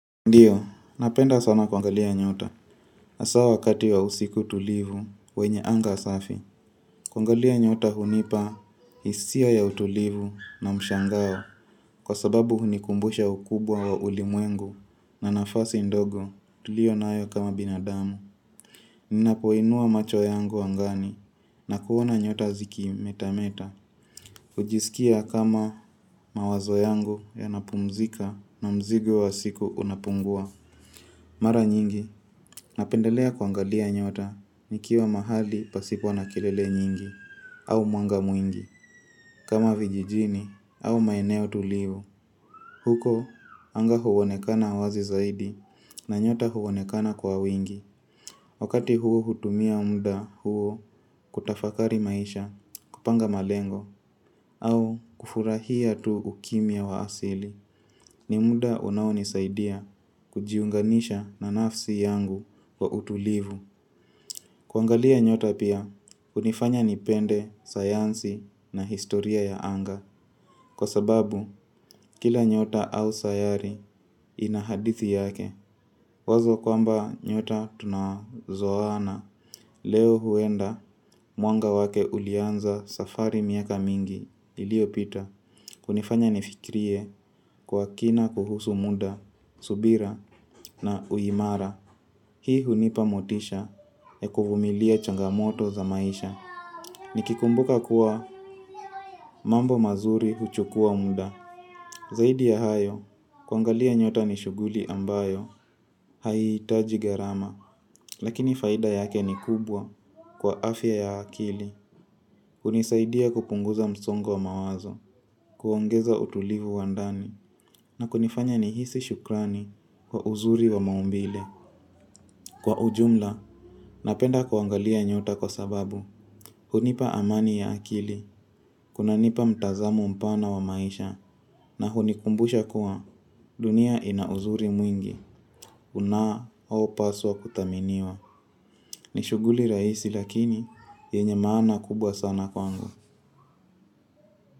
Ndiyo napenda sana kuangalia nyota haswa wakati wa usiku tulivu wenye anga safi. Kuangalia nyota hunipa hisia ya utulivu na mshangao kwa sababu hunikumbusha ukubwa wa ulimwengu na nafasi ndogo tuliyo nayo kama binadamu. Ninapoinua macho yangu angani na kuona nyota zikimeta meta. Hujisikia kama mawazo yangu yanapumzika na mzigo wa siku unapungua. Mara nyingi, napendelea kuangalia nyota, nikiwa mahali pasipo na kelele nyingi, au mwanga mwingi, kama vijijini, au maeneo tulivu. Huko, anga huonekana wazi zaidi, na nyota huonekana kwa wingi. Wakati huo hutumia muda huo kutafakari maisha, kupanga malengo, au kufurahia tu ukimya wa asili. Ni muda unaonisaidia kujiunganisha na nafsi yangu kwa utulivu. Kuangalia nyota pia, hunifanya nipende, sayansi na historia ya anga. Kwa sababu, kila nyota au sayari ina hadithi yake. Wazo kwamba nyota tunazohana. Leo huenda, mwanga wake ulianza safari miaka mingi iliopita. Kunifanya nifikirie kwa kina kuhusu muda, subira na uimara. Hii hunipa motisha ya kuvumilia changamoto za maisha. Nikikumbuka kuwa mambo mazuri huchukua muda. Zaidi ya hayo, kuangalia nyota ni shuguli ambayo haihiitaji gharama. Lakini faida yake ni kubwa kwa afya ya akili hunisaidia kupunguza msongo wa mawazo. Kuongeza utulivu wa ndani na kunifanya nihisi shukrani kwa uzuri wa maumbile. Kwa ujumla, napenda kuangalia nyota kwa sababu hunipa amani ya akili, kunanipa mtazamo mpana wa maisha. Na hunikumbusha kuwa dunia ina uzuri mwingi unaopaswa kudhaminiwa N ishughuli rahisi lakini, yenye maana kubwa sana kwangu.